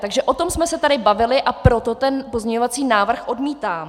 Takže o tom jsme se tady bavili a proto ten pozměňovací návrh odmítám.